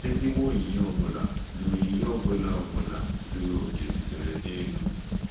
"Ezigbo onyinye ọ bụla na onyinye ọ bụla ọ bụla zuru oke sitere n'elu."